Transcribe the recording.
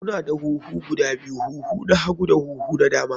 Kuna da huhu guda biyu, huhu na hagu da huhu na dama.